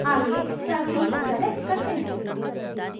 आगे family select करते हैं